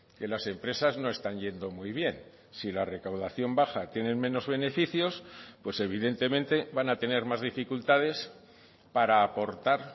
que las empresas no están yendo muy bien si la recaudación baja tienen menos beneficios pues evidentemente van a tener más dificultades para aportar